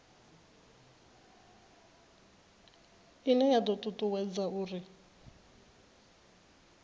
ine ya do tutuwedza uri